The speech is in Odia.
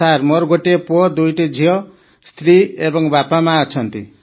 ସାର୍ ମୋର ଗୋଟିଏ ପୁଅ ଦୁଇ ଝିଅ ସ୍ତ୍ରୀ ଏବଂ ବାପାମା ଅଛନ୍ତି